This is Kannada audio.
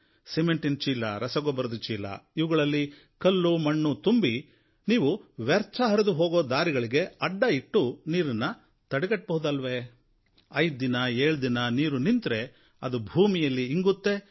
ಸಿಮೆಂಟಿನ ಚೀಲ ರಸಗೊಬ್ಬರದ ಚೀಲ ಇವುಗಳಲ್ಲಿ ಕಲ್ಲು ಮಣ್ಣು ತುಂಬಿ ನೀವು ವ್ಯರ್ಥ ಹರಿದು ಹೋಗೋ ದಾರಿಗಳಿಗೆ ಅಡ್ಡ ಇಟ್ಟು ನೀರನ್ನು ತಡೆಗಟ್ಟಬಹುದಲ್ವೇ ಐದು ದಿನ ಏಳು ದಿನ ನೀರು ನಿಂತರೆ ಅದು ಭೂಮಿಯಲ್ಲಿ ಇಂಗುತ್ತೆ